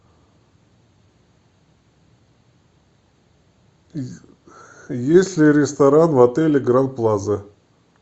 есть ли ресторан в отеле гранд плаза